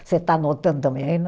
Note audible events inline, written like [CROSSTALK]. Você está anotando também [UNINTELLIGIBLE]